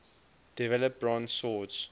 develop bronze swords